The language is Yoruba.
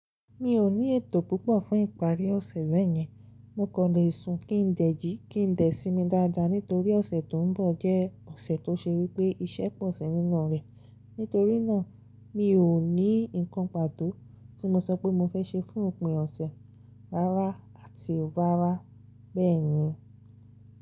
Mi ò ní ètò púpọ̀ fún ìparí ọ̀sẹ̀ bẹ́ẹ̀ yẹn, mo kọ̀ lè sun kí n dẹ̀ jí, kí n dẹ̀ simi dáadáa nítorí ọ̀sẹ̀ tó ń bọ̀ jẹ́ ọ̀sẹ̀ tó ṣe wípé iṣẹ́ pọ̀ sí nínú rẹ̀. Nítorí náà, mi ò ní nǹkan pàtó tí mo sọ pé mo fẹ́ ṣe fún ìpín ọ̀sẹ̀ rárá àti rárá bẹ́ẹ̀ yẹn.